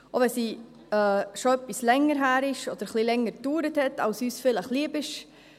Auch wenn sie schon ein wenig länger her ist oder ein wenig länger gedauert hat, als uns vielleicht lieb ist: